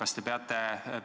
Austatud proua minister!